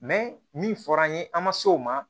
min fɔra an ye an ma se o ma